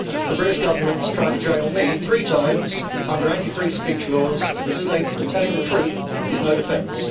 The British Government has tried to jail me three times under anti free speech laws that state that telling the truth is no defence.